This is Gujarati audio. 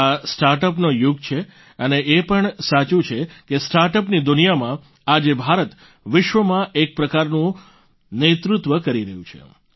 આ સ્ટાર્ટઅપનો યુગ છે અને એ પણ સાચું છે કે સ્ટાર્ટઅપની દુનિયામાં આજે ભારત વિશ્વમાં એક પ્રકારનું નેતૃત્વ કરી રહ્યું છે